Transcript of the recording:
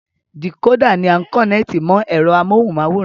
Dìkódà ni a kọ̀nẹ́ẹ̀tì mọ ẹ̀rọ amóhunmáwòrán